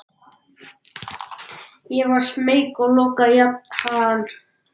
Ég varð smeyk og lokaði jafnharðan.